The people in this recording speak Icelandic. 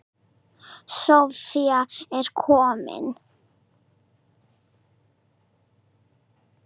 Soffía er komin.